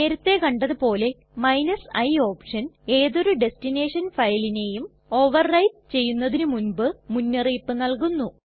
നേരത്തെ കണ്ടത് പോലെ i ഓപ്ഷൻ ഏതൊരു ടെസ്ടിനെഷൻ ഫയലിനെയും ഓവർ റൈറ്റ് ചെയ്യുന്നതിന് മുൻപ് മുന്നറിയിപ്പ് നല്കുന്നു